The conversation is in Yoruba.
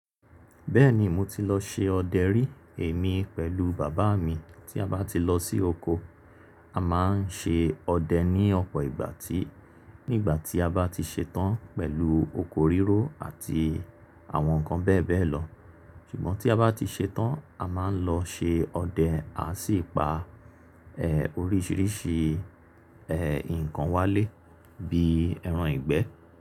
Bẹ́ẹ̀ni mo ti lọ ṣe ọdẹ rí. Èmi pẹ̀lú bàbá mi tí a bá ti lọ sí oko a máa ń ṣe ọdẹ ní ọ̀pọ̀ ìgbàtí. Nígbà tí a bá ti ṣetán pẹ̀lú oko rírọ̀ àti àwọn nǹkan bẹ́ẹ̀ bẹ́ẹ̀ lọ. Ṣùgbọ́n tí a bá ti ṣetán a máa ń lọ ṣe ọdẹ a sì pa eh oríṣìíríṣìí eh nǹkan wálé bíi ẹran ìgbẹ́.